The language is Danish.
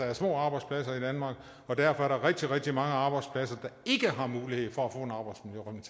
er små arbejdspladser og derfor er der rigtig rigtig mange arbejdspladser der ikke har mulighed for